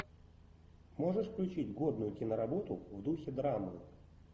можешь включить годную киноработу в духе драмы